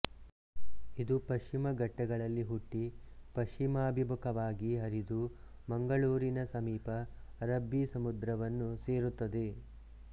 ಇದು ಪಶ್ಚಿಮ ಘಟ್ಟಗಳಲ್ಲಿ ಹುಟ್ಟಿ ಪಶ್ಚಿಮಾಭಿಮುಖವಾಗಿ ಹರಿದು ಮಂಗಳೂರಿನ ಸಮೀಪ ಅರಬ್ಬಿ ಸಮುದ್ರವನ್ನು ಸೇರುತ್ತದೆ